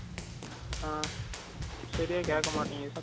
ஆஹ் சரியா கேக்கமாட்டிக்கிது